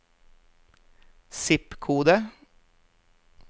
zip-kode